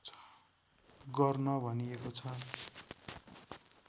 गर्न भनिएको छ